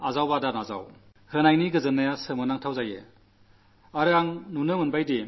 ആരെങ്കിലും അത് അംഗീകരിച്ചാലും ഇല്ലെങ്കിലും കൊടുക്കുന്നതിന്റെ സന്തോഷം അദ്ഭുതകരമാണ്